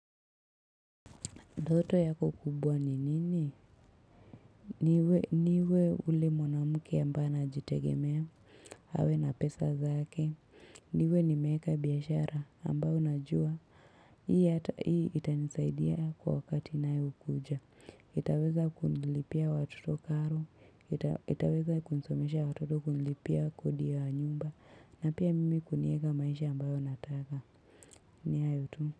Ndoto yako kubwa ni nini? Niwe yule mwanamke ambaye anajitegemea, awe na pesa zake, niwe nimeweka biashara ambao najua, hii hata, hii itanisaidia kwa wakati na inayokuja. Itaweza kunilipia watoto karo, itaweza kunisomeshea watoto, kunilipia kodi wa nyumba, na pia mimi kunieka maisha ambayo nataka ni hayo tu.